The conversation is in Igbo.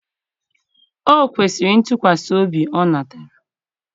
o kwesịrị ntụkwasị obi ọ natara